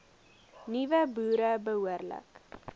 nuwe boere behoorlik